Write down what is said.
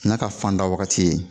N'a ka fanda wagati ye